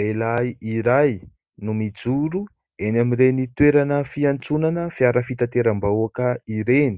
Lehilahy iray no mijoro eny amin'ireny toerana fiantsonana fiara fitateram-bahoaka ireny.